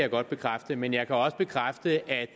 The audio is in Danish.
jeg godt bekræfte men jeg kan også bekræfte at